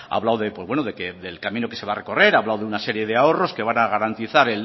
hablado de pues bueno que el camino que se va a recorrer ha hablado de una serie de ahorros que van a garantizar